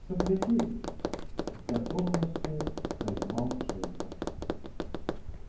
сопляки с готовностью признал женька